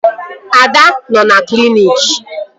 Ada nọ na kliniki